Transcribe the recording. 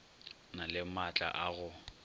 na le maatla a go